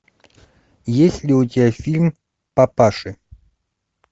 есть ли у тебя фильм папаши